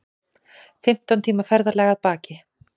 Fimmtán tíma ferðalag að baki